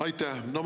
Aitäh!